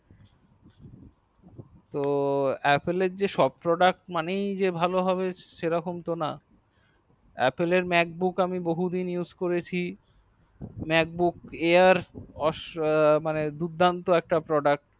তো apple এর যা সব product মানেই যা ভালো হবে সেরকম তো না apple এর mak book আমি বহু দিন উসে করছি mak book air মানে দুর্দান্ত একটা product